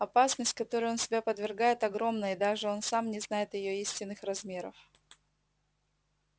опасность которой он себя подвергает огромна и даже он сам не знает её истинных размеров